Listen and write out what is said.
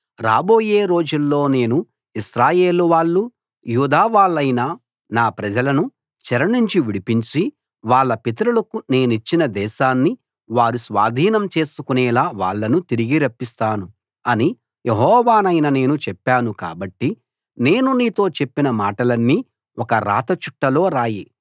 రాబోయే రోజుల్లో నేను ఇశ్రాయేలు వాళ్ళూ యూదా వాళ్ళైన నా ప్రజలను చెరనుంచి విడిపించి వాళ్ళ పితరులకు నేనిచ్చిన దేశాన్ని వారు స్వాధీనం చేసుకునేలా వాళ్ళను తిరిగి రప్పిస్తాను అని యెహోవానైన నేను చెప్పాను కాబట్టి నేను నీతో చెప్పిన మాటలన్నీ ఒక రాతచుట్టలో రాయి